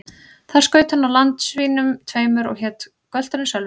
Þar skaut hann á land svínum tveimur, og hét gölturinn Sölvi.